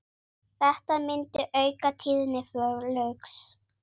Þetta myndi auka tíðni flugs.